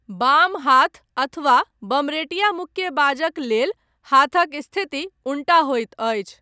बाम हाथ अथवा बमरेटिया मुक्केबाजक लेल हाथक स्थिति उनटा होइत अछि।